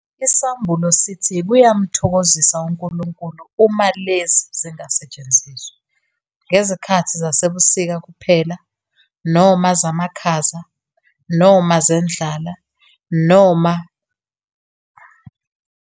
Isambulo sithi kuyamthokozisa uNkulunkulu uma lezi zingasetshenziswa, "ngezikhathi zasebusika kuphela, noma zamakhaza, noma zendlala " nangezikhathi "zendlala eyeqile".